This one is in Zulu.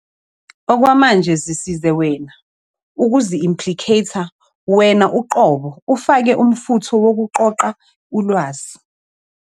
Okwamanje, zisize wena, ukuzi-implicater wena uqobo ufake umfutho wokuqoqa ulwazi.